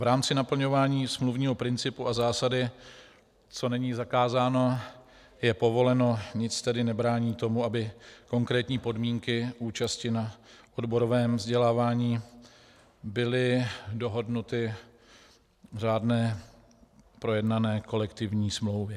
V rámci naplňování smluvního principu a zásady co není zakázáno, je povoleno nic tedy nebrání tomu, aby konkrétní podmínky účasti na odborovém vzdělávání byly dohodnuty v řádné projednané kolektivní smlouvě.